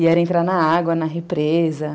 E era entrar na água, na represa.